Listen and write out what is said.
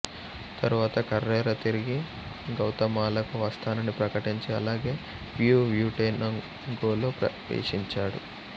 తరువాత కర్రెరా తిరిగి గౌతమాలాకు వస్తానని ప్రకటించి అలాగే హ్యూహ్యూటెనాంగోలో ప్రవేశించాడు